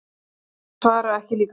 Þeir svara ekki líka.